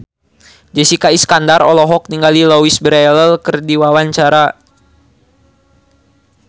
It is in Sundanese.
Jessica Iskandar olohok ningali Louise Brealey keur diwawancara